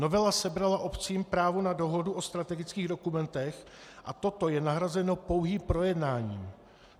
Novela sebrala obcím právo na dohodu o strategických dokumentech a toto je nahrazeno pouhým projednáním.